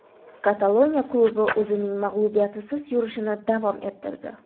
Kataloniya klubi o‘zining mag‘lubiyatsiz yurishini davom ettirdi.